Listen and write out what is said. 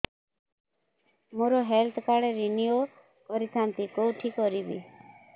ମୋର health card renew କରିଥାନ୍ତି କୋଉଠି କରିବି